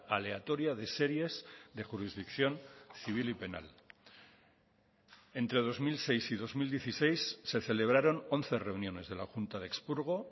aleatoria de series de jurisdicción civil y penal entre dos mil seis y dos mil dieciséis se celebraron once reuniones de la junta de expurgo